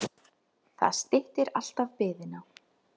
Það styttir alltaf biðina.